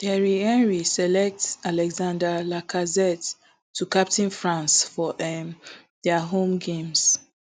thierry henry select alexandre lacazette to captain france um for dia home games